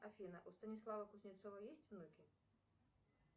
афина у станислава кузнецова есть внуки